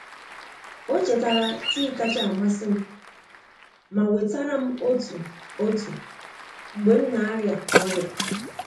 o chetara tii kacha amasim, ma wetara m ọtụ otu mgbe m na-aria oria